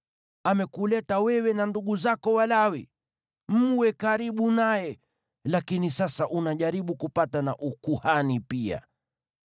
Amekuleta wewe na ndugu zako Walawi mwe karibu naye, lakini sasa unajaribu kupata na ukuhani pia.